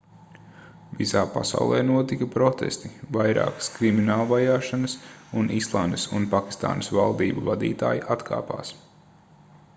visā pasaulē notika protesti vairākas kriminālvajāšanas un islandes un pakistānas valdību vadītāji atkāpās